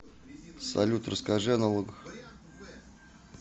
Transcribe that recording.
салют расскажи о налогах